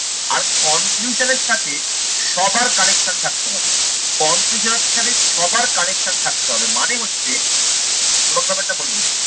আর conclusion এর সাথে সবার connection থাকতে হবে। conclusion এর সাথে সবার connection থাকতে হবে মানে হচ্ছে তমাকে ব্যাপার টা বলে দিই